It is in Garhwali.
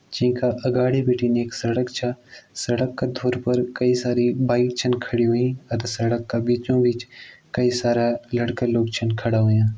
जै का अगाडि बिटिन एक सड़क छ सड़क का थोर पर कई सारी बाइक छन खड़ी ह्वईं सड़क का बीचों बीच कई सारा लड़का लोग छन खड़ा हव्यां।